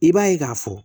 I b'a ye k'a fɔ